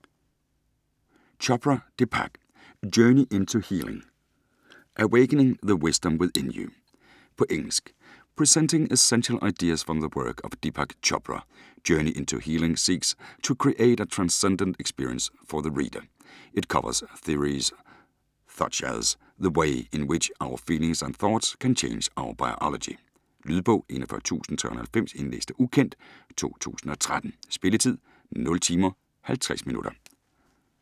Chopra, Deepak: Journey into healing : awakening the wisdom within you På engelsk. Presenting essential ideas from the work of Deepak Chopra, Journey into Healing seeks to create a transcendent experience for the reader. It covers theories such as the way in which our feelings and thoughts can change our biology. Lydbog 41390 Indlæst af ukendt, 2013. Spilletid: 0 timer, 50 minutter.